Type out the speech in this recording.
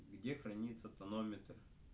где хранится тонометр